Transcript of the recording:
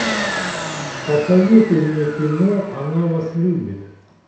посоветуй мне кино она вас любит